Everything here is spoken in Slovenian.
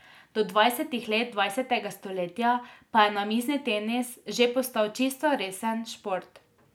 Do dvajsetih let dvajsetega stoletja pa je namizni tenis že postal čisto resen šport.